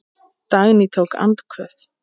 Dagný tók andköf.